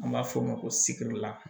An b'a f'o ma ko sikili la